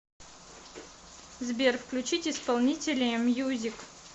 сбер включить исполнителя мьюзик